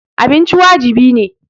Abinci wajibi ne.